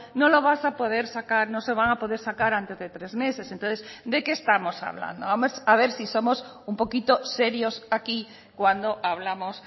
no lo vas a poder sacar no se van a poder sacar antes de tres meses entonces de qué estamos hablando a ver si somos un poquito serios aquí cuando hablamos